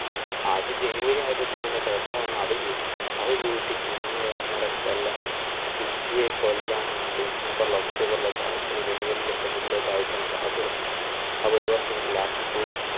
അത് january ആയപ്പത്തിന് തന്നെ കൊറോണ വന്ന് അതു പോയി അത് പോയിട്ട് പിന്നെ ഒന്നര കൊല്ലം പിറ്റേ കൊല്ലം december october ഒക്കെ ആയിട്ട് january ല് february ല് ഒക്കെ ആയിട്ടാണ് class തൊടത്തത് അത് ഒരു വർഷം last പോയി.